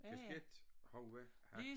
Kasket hoved hat